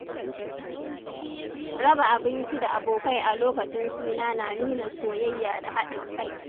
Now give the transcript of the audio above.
Raba abinci da abokai a lokacin suna na nuna soyayya da haɗin kai.